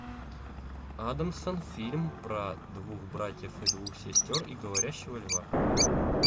адамсон фильм про двух братьев и двух сестер и говорящего льва